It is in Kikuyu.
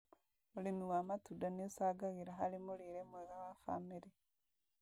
ũrĩmi wa matunda nĩũcangagĩra harĩ mũrĩre mwega wa bamĩrĩ